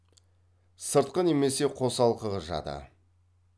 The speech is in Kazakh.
сыртқы немесе қосалқы жады